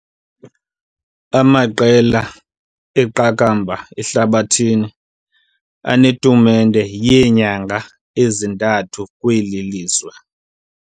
Amaqela eqakamba ehlabathi anetumente yeenyanga ezintathu kweli lizwe.